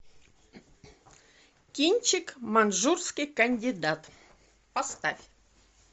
кинчик манжурский кандидат поставь